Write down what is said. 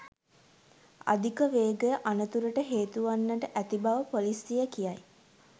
අධික වේගය අනතුරට හේතු වන්නට ඇති බව ‍පොලිසිය කියයි